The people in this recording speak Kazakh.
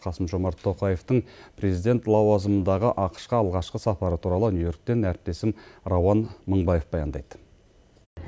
қасым жомарт тоқаевтың президент лауазымындағы ақш қа алғашқы сапары туралы нью йорктен әріптесім рауан мыңбаев баяндайды